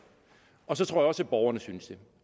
og så tror jeg også at borgerne synes det